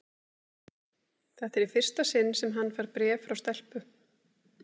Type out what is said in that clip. Þetta er í fyrsta sinn sem hann fær bréf frá stelpu.